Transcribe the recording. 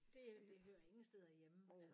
Det det hører ingen steder hjemme